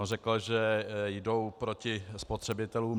On řekl, že jdou proti spotřebitelům.